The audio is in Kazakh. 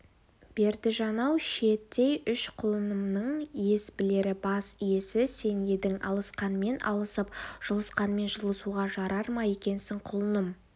бердіжан-ау шиеттей үш құлынымның ес білері бас иесі сен едің алысқанмен алысып жұлысқанмен жұлысуға жарар ма екенсің құлыным